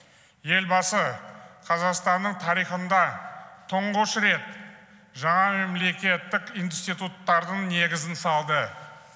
елбасы қазақстанның тарихында тұңғыш рет жаңа мемлекеттік институттардың негізін салды